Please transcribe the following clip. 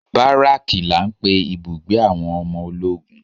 Baraki la ń pè ibùgbé àwọn ọmọ ológun.